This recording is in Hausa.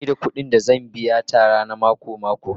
Ba ni da kuɗin da zan biya Tara na mako-mako